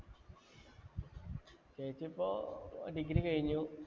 ചേച്ചി ഇപ്പൊ degree കഴിഞ്ഞു